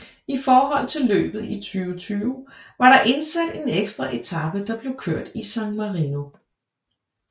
I forhold til løbet i 2020 var der indsat en ekstra etape der blev kørt i San Marino